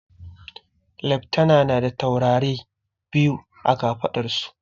Leftana na da taurarai biyu a kafaɗar su